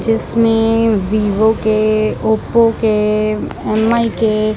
जिसमें वीवो के ओपो के एम_आई के --